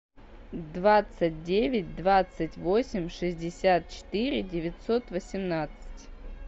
двадцать девять двадцать восемь шестьдесят четыре девятьсот восемнадцать